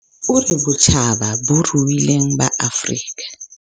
O re botjhaba bo ruileng ba Afrika